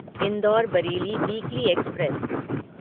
indoor Bareilly weekly express